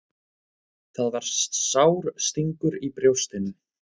Það var sár stingur í brjóstinu.